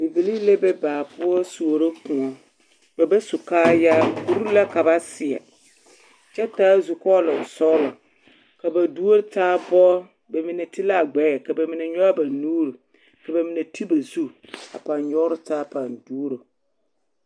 Bibilii la be baa poɔ suoro koɔ ba ba su kaayaa kuri la ka ba seɛ kyɛ taa zukɔɔlonsɔglɔ ka ba duori taa bɔgrɔ ba mine ti la a gbɛɛ ka ba mine nyɔge ba nuuri ka ba ti ba zu a pãâ nyɔgrɔ taa a pãâ duoro.